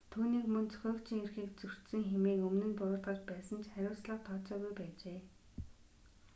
түүнийг мөн зохиогчийн эрхийг зөрчсөн хэмээн өмнө нь буруутгаж байсан ч хариуцлага тооцоогүй байжээ